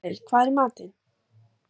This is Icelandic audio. Marel, hvað er í matinn?